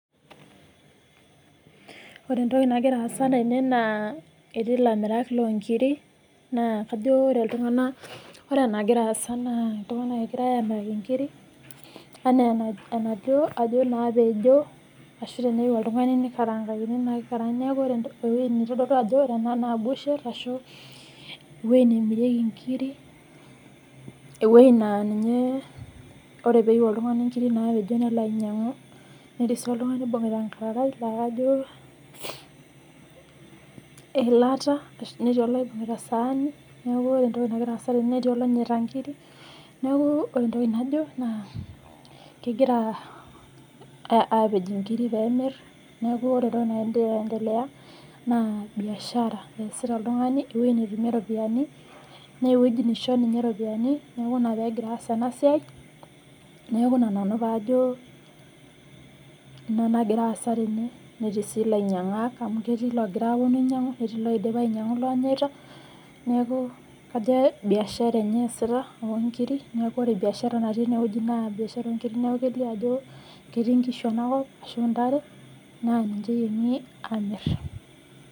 Ore entoki nagira aasa tene naa etii ilamirak loo inkiri naa kajo ore iltungana, ore enagira aasa naa iltunganak egirai aamiraki inkiri anaa enajo naa pejo ashu teneyeu oltungani neikarankakini naaku ore ntokitin naidolu ajo etaa naa ebusher ashu eweji namirieki enkiri, eweji naa ninye, ore peeyeu oltungani inkiri naapejo nelo ainyang'u netii sii oltungani oibung'ita inkararai kajo eilata, netii iloibung'ita isaani, neaku ore entoki nagira aasa tene netii loonyata enkiri neaku ore entoki najo naa kegira aapej inkiri peemir, neaku ore entoki natii aientelea naa mbiashara easita oltungani eweji netumie iropiyiani, naa eweji neisho ninye iropiyiani, neaku ina peegira aas ena siai, neaku ina nanu paajo ina nagira aasa tene ,neti sii lainyang'ak amu ketii loogira aaponu ainyang'u ,neti loidip ainyang'u loonyeta, neaku kajo mbiashara enye easita oltungani enkiri, naaku ore ebiashara nidolita etii ineweji naa mbiashara neaku keilio ajo ketii inkishu enakop, netii intare, naa niche eiyieng'i aamir.